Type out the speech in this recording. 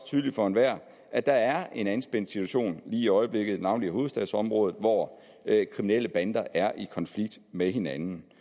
tydeligt for enhver at der er en anspændt situation i øjeblikket navnlig i hovedstadsområdet hvor kriminelle bander er i konflikt med hinanden